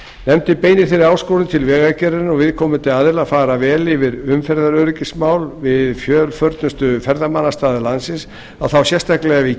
nefndin beinir þeirri áskorun til vegagerðarinnar og viðkomandi aðila að fara vel yfir umferðaröryggismál við fjölförnustu ferðamannastaði landsins og þá sérstaklega við